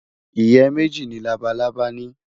Ìyẹ́ méjì ni labalábá ní.